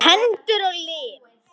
Hendur og lim.